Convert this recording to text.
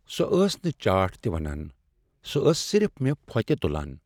سۄ ٲس نہٕ چاٹھ تہ ونان، سۄ ٲس صرف مےٚ پھوتہِ تٗلان ۔